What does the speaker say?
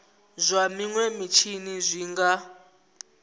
zwa minwe mitshini zwi nga